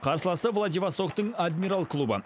қарсыласы владивостоктың адмирал клубы